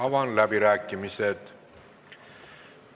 Avan läbirääkimised.